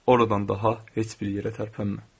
Oradan daha heç bir yerə tərpənmə.